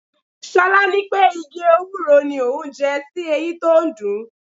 Ṣolá ní pé igi Ewúro ni òun jẹ sí eyín tó ń dùn-ún.